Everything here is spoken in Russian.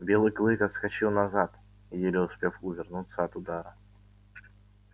белый клык отскочил назад еле успев увернуться от удара